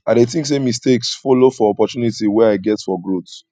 i dey think say mistakes follow for opportunities wey i get for growth